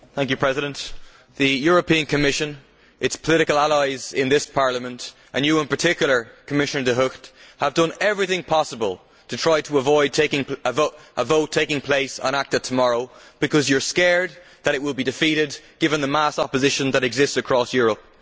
Mr President, the European Commission, its political allies in this Parliament, and you in particular, Commissioner De Gucht, have done everything possible to try to avoid a vote taking place on ACTA tomorrow because you are scared that it will be defeated, given the mass opposition that exists across Europe.